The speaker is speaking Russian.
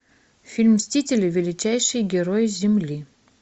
фильм мстители величайшие герои земли